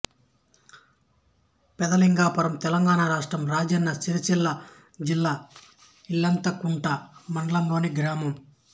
పెద్దలింగాపురం తెలంగాణ రాష్ట్రం రాజన్న సిరిసిల్ల జిల్లా ఇల్లంతకుంట మండలంలోని గ్రామం